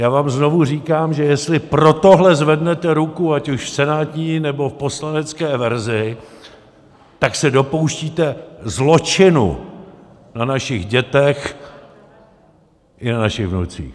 Já vám znovu říkám, že jestli pro tohle zvednete ruku, ať už v senátní, nebo v poslanecké verzi, tak se dopouštíte zločinu na našich dětech i na našich vnucích.